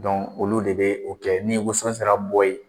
olu de be o kɛ ni wosɔn sera bɔ yen